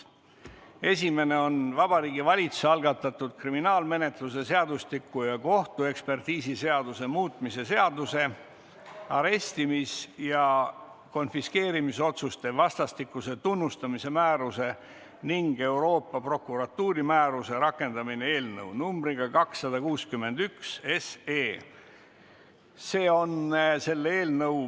Esimene on Vabariigi Valitsuse algatatud kriminaalmenetluse seadustiku ja kohtuekspertiisiseaduse muutmise seaduse eelnõu numbriga 261.